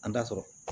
An da sɔrɔ